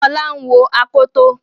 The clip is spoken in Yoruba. Fola ń wò Akoto.